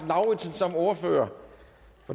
lauritzen som ordfører